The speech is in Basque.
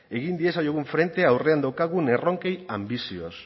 egin diezaiogun frente aurrean daukagun erronkei anbizioz